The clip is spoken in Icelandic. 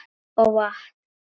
Og vatn.